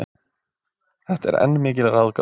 Þetta er enn mikil ráðgáta.